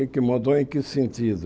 O que é mudou em que sentido?